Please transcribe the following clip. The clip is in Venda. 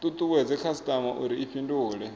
tutuwedze khasitama uri i fhindule